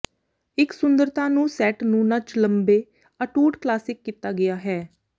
ਇੱਕ ਸੁੰਦਰਤਾ ਨੂੰ ਸੈੱਟ ਨੂੰ ਨੱਚ ਲੰਬੇ ਅਟੁੱਟ ਕਲਾਸਿਕ ਕੀਤਾ ਗਿਆ ਹੈ